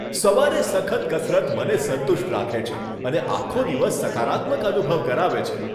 સવારે સખત કસરત મને સંતુષ્ટ રાખે છે અને આખો દિવસ સકારાત્મક અનુભવ કરાવે છે.